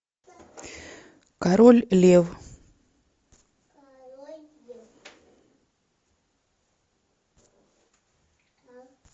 король лев